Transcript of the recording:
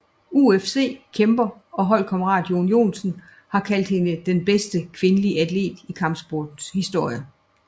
UFC kæmper og holdkammerat Jon Jones har kaldt hende den bedste kvindelige atlet i kampsportens historie